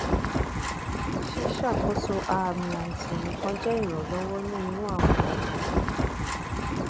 ṣiṣakoso aami aisan nikan jẹ iranlọwọ ni iru awọn ọran